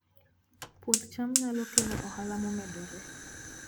Puoth cham nyalo kelo ohala momedore